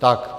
Tak.